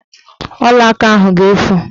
Ọlaaka ahụ ga-efu